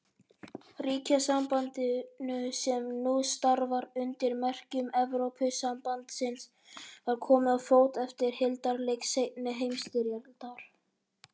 Ríkjasambandinu, sem nú starfar undir merkjum Evrópusambandsins, var komið á fót eftir hildarleik seinni heimsstyrjaldar.